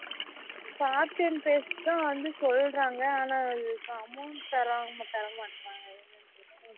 copy and paste தான் வந்து சொல்லுறாங்க ஆனா amount தரா தரமாட்ராங்க